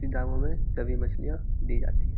ती दामों में सभी मछलियां दी जाती है।